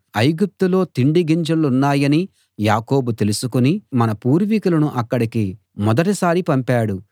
ఐగుప్తులో తిండి గింజలున్నాయని యాకోబు తెలుసుకుని మన పూర్వీకులను అక్కడికి మొదటిసారి పంపాడు